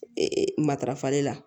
Ee matarafali la